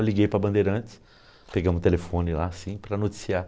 Eu liguei para a Bandeirantes, pegamos o telefone lá, assim, para noticiar.